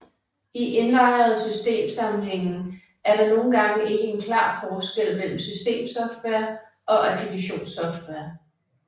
I indlejrede system sammenhænge er der nogle gange ikke en klar forskel mellem systemsoftware og applikationssoftware